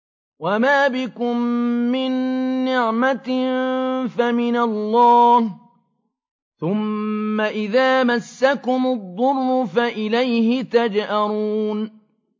وَمَا بِكُم مِّن نِّعْمَةٍ فَمِنَ اللَّهِ ۖ ثُمَّ إِذَا مَسَّكُمُ الضُّرُّ فَإِلَيْهِ تَجْأَرُونَ